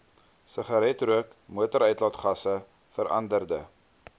sigaretrook motoruitlaatgasse veranderde